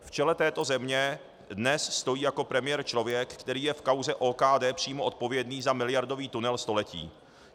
V čele této země dnes stojí jako premiér člověk, který je v kauze OKD přímo odpovědný za miliardový tunel století.